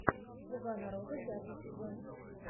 слуга народа пятый сезон